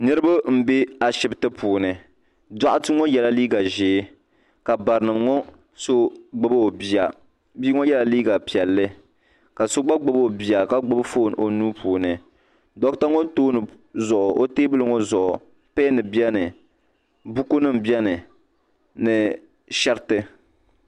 Niriba m be ashipti puuni doɣate ŋɔ yela liiga ʒee ka barinima ŋɔ so gbibi o bia bia ŋɔ yela liiga piɛlli ka so gba gbibi o bia ka gbibi fooni onuu puuni doɣata ŋɔ teebuli zuɣu peni biɛni buku nima biɛni ni sheriti.